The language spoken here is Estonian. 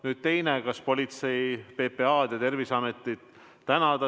Nüüd teine: kas politseid, PPA-d ja Terviseametit tänada?